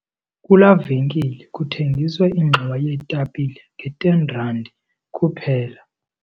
Kulaa venkile kuthengiswa ingxowa yeetapile nge-R10.00 kuphela.